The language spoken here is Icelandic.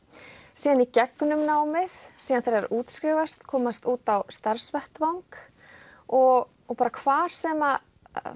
síðan í gegnum námið síðan þegar þær útskrifast og komast út á starfsvettvang og og bara hvar sem